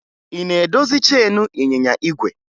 Ị na-edozi cheenu ịnyịnya igwe?